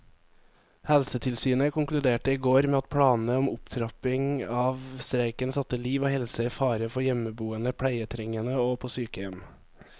Helsetilsynet konkluderte i går med at planene om opptrapping av streiken satte liv og helse i fare for hjemmeboende pleietrengende og på sykehjem.